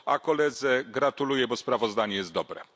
A koledze gratuluję, bo sprawozdanie jest dobre.